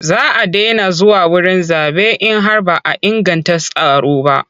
Za a daina zuwa wurin zaɓe in har ba a inganta tsaro ba.